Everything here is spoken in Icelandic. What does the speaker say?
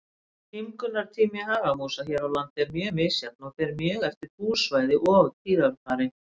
Tímgunartími hagamúsa hér á landi er mjög misjafn og fer mjög eftir búsvæði og tíðarfari.